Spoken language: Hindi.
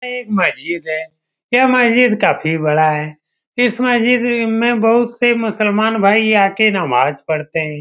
ये मस्जिद है ये मस्जिद काफी बड़ा है इस मस्जिद में बहुत सारे मुसलमान भाई आकर नमाज़ पढ़ते है ।